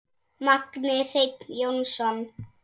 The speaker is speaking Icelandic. Magni Hreinn Jónsson